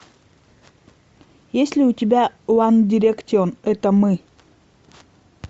есть ли у тебя ван директион это мы